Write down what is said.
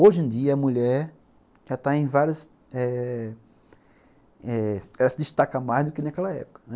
Hoje em dia, a mulher já está em várias eh eh... ela se destaca mais do que naquela época, né.